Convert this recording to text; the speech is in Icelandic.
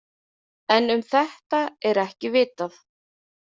En um þetta er ekki vitað.